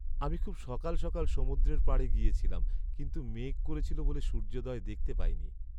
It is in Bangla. আমি খুব সকাল সকাল সমুদ্রের পাড়ে গিয়েছিলাম, কিন্তু মেঘ করেছিল বলে সূর্যোদয় দেখতে পাইনি।